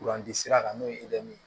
Kuranti sira kan n'o ye ye